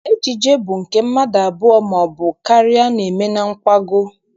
Ejije bụ nke mmadụ abụọ maọbụ karịa na-eme na nkwago.